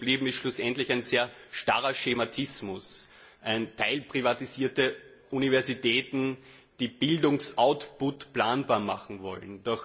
Doch übrig geblieben ist schlussendlich ein sehr starrer Schematismus, teilprivatisierte Universitäten, die Bildungs Output planbar machen wollen.